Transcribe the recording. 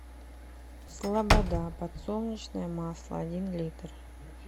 слобода подсолнечное масло один литр